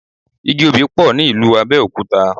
Igi Obì pọ̀ ní ìlú Abẹ́òkúta.